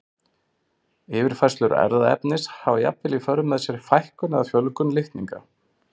Yfirfærslur erfðaefnis hafa jafnvel í för með sér fækkun eða fjölgun litninga.